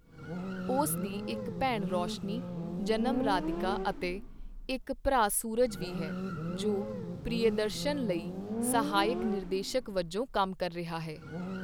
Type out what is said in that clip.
ਉਸ ਦੀ ਇੱਕ ਭੈਣ ਰੋਸ਼ਨੀ ਜਨਮ ਰਾਧਿਕਾ ਅਤੇ ਇੱਕ ਭਰਾ ਸੂਰਜ ਵੀ ਹੈ, ਜੋ ਪ੍ਰਿਯਦਰਸ਼ਨ ਲਈ ਸਹਾਇਕ ਨਿਰਦੇਸ਼ਕ ਵਜੋਂ ਕੰਮ ਕਰ ਰਿਹਾ ਹੈ।